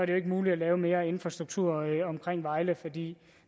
jo ikke muligt at lave mere infrastruktur omkring vejle fordi